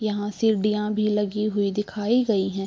यहाँ सीढ़ियाँ भी लगी हुई दिखाई गई हैं।